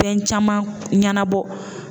Fɛn caman ɲɛnabɔ.